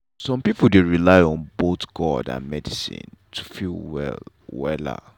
some people dey rely on both god and medicine to feel well wella.